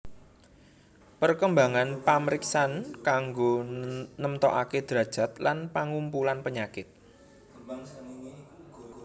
Perkembangan pamriksan kanggo nemtokaké drajat lan pangumpulan penyakit